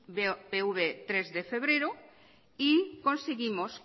bopv de tres de febrero y conseguimos